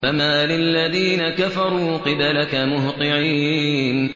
فَمَالِ الَّذِينَ كَفَرُوا قِبَلَكَ مُهْطِعِينَ